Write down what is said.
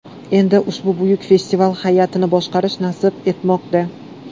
Endi ushbu buyuk festival hay’atini boshqarish nasib etmoqda.